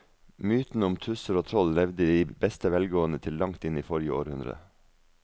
Mytene om tusser og troll levde i beste velgående til langt inn i forrige århundre.